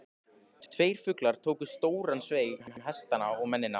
Tveir fuglar tóku stóran sveig um hestana og mennina.